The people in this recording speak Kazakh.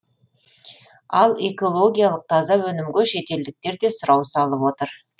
ал экологиялық таза өнімге шетелдіктер де сұрау салып отыр